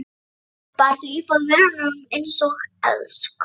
Bar þau upp að vörunum einsog elskhuga.